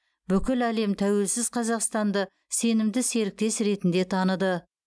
бүкіл әлем тәуелсіз қазақстанды сенімді серіктес ретінде таныды